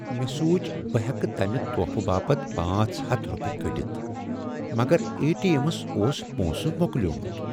مےٚ سوچ بہٕ ہیکہٕ تمہِ تحفہٕ باپت پانژھ ہتھَ روپیہ كڈِتھ ،مگر اے ٹی ایمس اوس پۄنٛسہٕ مۄكلیومُت۔